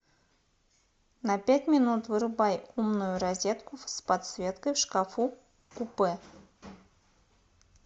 на пять минут вырубай умную розетку с подсветкой в шкафу купе